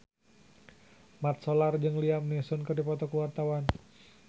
Mat Solar jeung Liam Neeson keur dipoto ku wartawan